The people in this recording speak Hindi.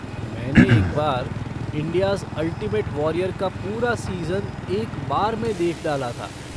मैंने एक बार 'इंडियाज़ अल्टिमेट वॉरियर' का पूरा सीज़न एक बार में देख डाला था।